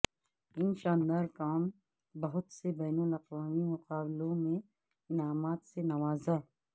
ان شاندار کام بہت سے بین الاقوامی مقابلوں میں انعامات سے نوازا